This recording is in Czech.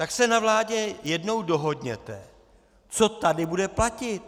Tak se na vládě jednou dohodněte, co tady bude platit.